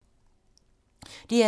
DR2